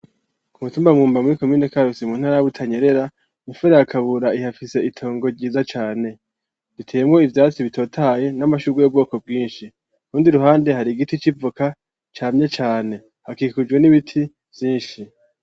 Ku mutumba mumba muri komine karusi mu ntara ya butanyerera mufera ya kabura ihafise itongo ryiza cane biteyemo ivyatsi bitotaye n'amashugwe y'ubwoko bwinshi kurundi ruhande hari igiti civoka camye cane hakikujwe n'ibiti vyinshi.